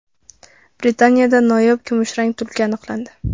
Britaniyada noyob kumushrang tulki aniqlandi.